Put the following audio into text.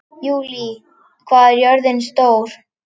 Júlí, hvað er jörðin stór?